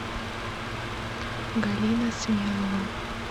галина смелова